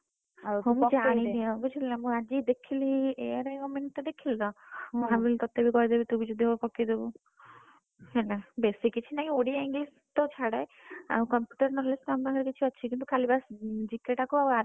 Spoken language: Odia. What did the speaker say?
ମୁଁ ଜାଣିଲି ନା ବୁଝିଲୁନା ମୁଁ ଆଜି ଦେଖିଲି ARI Government ଟା ଦେଖିଲି ତ ମୁଁ ଭାବିଲି ଆଜି ଗୋଟେ ପକେଇଦବୁ। ହେଲା ବେଶି କିଛି ନାହିଁ ଓଡିଆ English ତ ଛାଡ ଆଉ Computer Knowledge